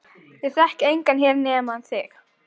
Ég þekki engan hér nema þig.